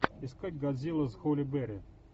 искать годзилла с холли берри